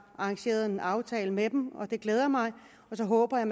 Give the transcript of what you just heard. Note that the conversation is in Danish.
arrangeret en aftale med dem det glæder mig og så håber jeg